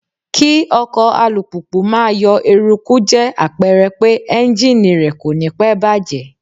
Kí ọkọ̀ alùpùpù máa yọ eruku jẹ́ àpẹrẹ pé Ẹ́njíníì rẹ̀ kò ní pẹ́ bàjẹ́.